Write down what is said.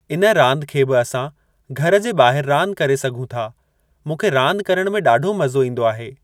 इन रांदि खे बि असां घर जे ॿाहिरि रांदि करे सघूं था। मूंखे रांदि करणु में ॾाढो मज़ो ईंदो आहे।